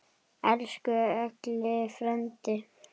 Elsku Elli frændi.